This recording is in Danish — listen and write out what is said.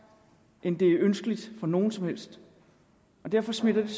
end det er ønskeligt for nogen som helst derfor smitter det